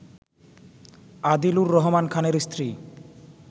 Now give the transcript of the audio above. আদিলুর রহমান খানের স্ত্রী